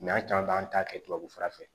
an caman b'an ta kɛ tubabu fura fɛ